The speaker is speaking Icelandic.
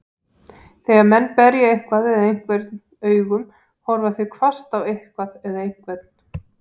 Þegar menn berja eitthvað eða einhvern augum, horfa þeir hvasst á eitthvað eða einhvern.